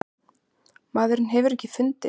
Maðurinn hefur ekki fundist.